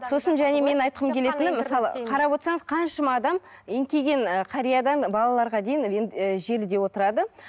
сосын және менің айтқым келетіні мысалы қарап отсаңыз қаншама адам еңкейген ы қариядан балаларға дейін і желіде отырады